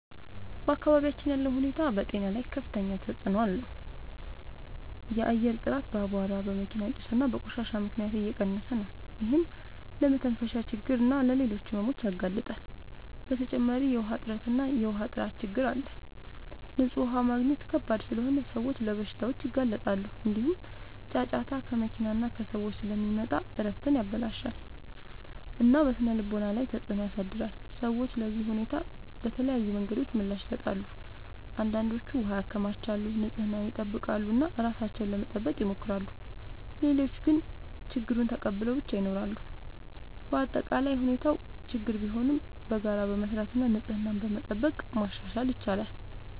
በአካባቢያችን ያለው ሁኔታ በጤና ላይ ከፍተኛ ተጽዕኖ አለው። የአየር ጥራት በአቧራ፣ በመኪና ጭስ እና በቆሻሻ ምክንያት እየቀነሰ ነው፤ ይህም ለመተንፈሻ ችግኝ እና ለሌሎች ሕመሞች ያጋልጣል። በተጨማሪ የውሃ እጥረት እና የውሃ ጥራት ችግኝ አለ፤ ንጹህ ውሃ ማግኘት ከባድ ስለሆነ ሰዎች ለበሽታዎች ይጋለጣሉ። እንዲሁም ጫጫታ ከመኪና እና ከሰዎች ስለሚመጣ እረፍትን ያበላሽታል እና በስነ-ልቦና ላይ ተጽዕኖ ያሳድራል። ሰዎች ለዚህ ሁኔታ በተለያዩ መንገዶች ምላሽ ይሰጣሉ። አንዳንዶች ውሃ ያከማቻሉ፣ ንጽህናን ይጠብቃሉ እና ራሳቸውን ለመጠበቅ ይሞክራሉ። ሌሎች ግን ችግኙን ተቀብለው ብቻ ይኖራሉ። በአጠቃላይ ሁኔታው ችግኝ ቢሆንም በጋራ በመስራት እና ንጽህናን በመጠበቅ ማሻሻል ይቻላል።